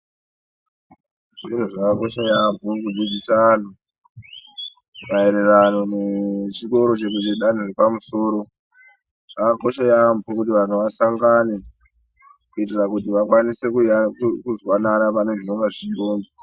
Zviro zvakakosha yaamho kudzidzisa anhu maererano nechikoro chedanho repamusoro zvakakosha yaamho kuti vanhu vasangane kuitira kuti vakwanise kuzwanana pane zvinonga zvichirongwa.